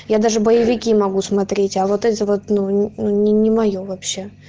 я даже боевики могу смотреть а вот это вот ну не моё вообще